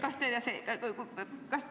Kui te oleksite lapsevanem.